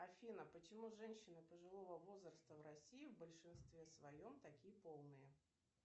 афина почему женщины пожилого возраста в россии в большинстве своем такие полные